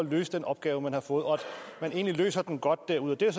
løse den opgave man har fået og at man egentlig løser den godt derude det